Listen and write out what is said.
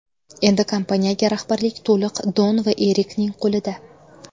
Endi kompaniyaga rahbarlik to‘liq Don va Erikning qo‘lida.